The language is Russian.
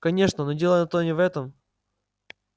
конечно но дело-то не в этом